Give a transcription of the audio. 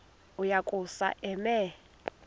uya kusuka eme